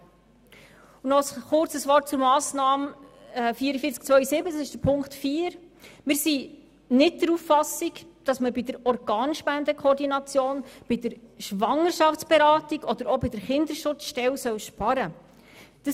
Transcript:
Noch ein kurzes Wort zur Massnahme 44.2.7, also zu Ziffer 4: Wir sind nicht der Auffassung, dass man bei der Organspendenkoordination, bei der Schwangerschaftsberatung oder auch bei der Kinderschutzstelle sparen soll!